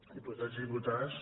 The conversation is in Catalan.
diputats i diputades